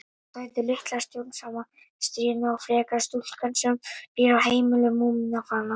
Hvað heitir litla stjórnsama, stríðna og freka stúlkan sem býr á heimili Múmínálfanna?